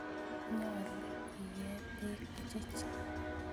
Nyalu iee peek che chang'